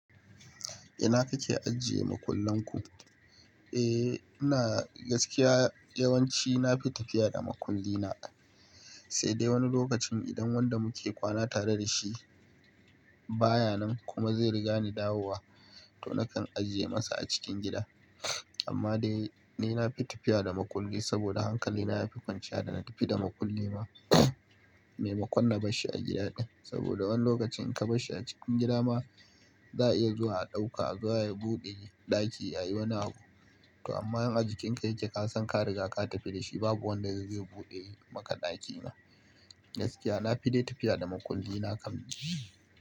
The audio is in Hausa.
Ina kake ajiye makullan ku? Eh, ina gaskiya yawanci na fi tafiya da makulli na, sai dai wani lokacin idan wanda muke kwana tare da shi baya nan kuma zai riga ni dawowa, to na kan ajiye masa a cikin gida. Amma dai ni na fi tafiya da maƙulli saboda hankali na ya fi kwanciya da na tafi da maƙulli na, me makunna barshi a gida ɗin. Saboda wani lokacin ka barshi a cikin gida ma, za a iya zuwa a ɗauka, a zuwa a buɗe ɗaki ayi wani abu. To amma in a jikin ka yake ka san ka riga ka tafi da shi babu wanda zai zo ya buɗe maka ɗaki ma. Gaskiya na fi dai tafiya da maƙulli na kam.